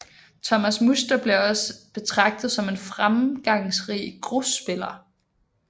Thomas Muster bliver også betragtet som en fremgangsrig grusspiller